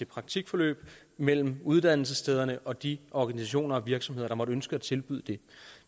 praktikforløb mellem uddannelsesstederne og de organisationer og virksomheder der måtte ønske at tilbyde det